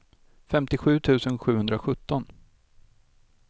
femtiosju tusen sjuhundrasjutton